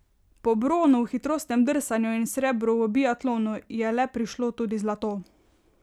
Po bronu v hitrostnem drsanju in srebru v biatlonu je le prišlo tudi zlato.